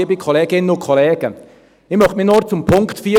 Ich möchte mich nur zum Punkt 4 äussern.